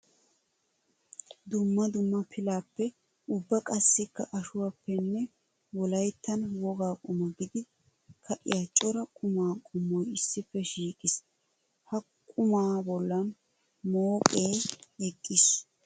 Dumma dumma pilappe ubba qassikka ashuwappenne wolayttan woga quma gididdi ka'iya cora quma qommoy issippe shiiqqis. Ha qumma bollan mooqe eqqiis.